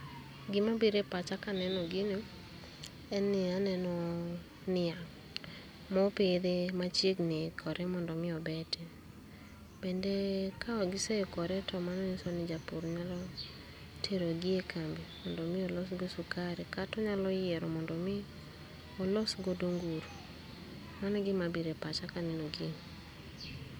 Gima biro e pacha kaneno gino en ni aneno niang' mopidhi, machiegni ikore mondo mi obete. Bende kawang' giseikore to mano ng'iso ni japur nyalo terogi e kambi mondo mi olos go sukari kata onyalo yiero mondo mi olos godo nguru. Mano e gima biro e pacha kaneno gini